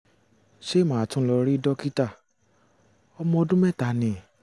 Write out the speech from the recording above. ṣé màá tún lọ rí dókítà? ọmọ ọdún mẹ́ta ni